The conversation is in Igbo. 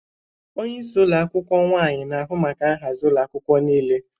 Onye isi ụlọ akwụkwọ/nwanyị nwanyị na-ahụ maka nhazi ụlọ akwụkwọ niile.